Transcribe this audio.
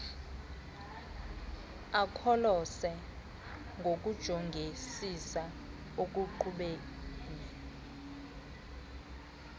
akholose ngokujongisisa ekuqhubeni